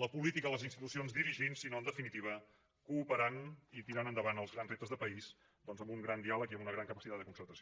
la política o les institucions dirigint sinó en definitiva cooperant i tirant endavant els grans reptes de país amb un gran diàleg i amb una gran capacitat de concertació